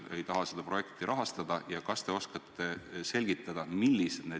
Kui me oleme selle valitsuse tasandil kokku leppinud, siis loomulikult saadame selle edasi.